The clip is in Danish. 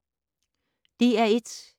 DR1